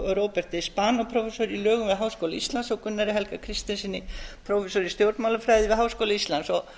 róberti spanó prófessor í lögum við háskóla íslands og gunnari helga kristinssyni prófessor í stjórnmálafræði við háskóla íslands